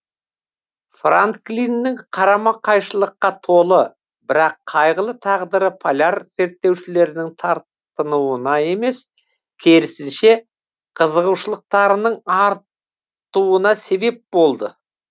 франклиннің қарама қайшылыққа толы бірақ қайғылы тағдыры поляр зерттеушілерінің тартынуына емес керісінше қызығушылықтарының артуына себеп болды